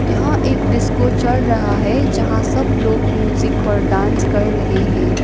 यहां एक डिस्को चल रहा है जहां सब लोग म्यूजिक पर डांस कर रहे हे।